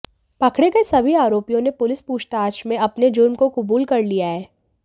पकड़े गए सभी आरोपियों ने पुलिस पूछताछ में अपने जुर्म को कुबूल कर लिया है